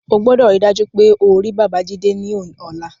O gbọdọ̀ ríi dájú pé o rí Babájídé ní ọ̀la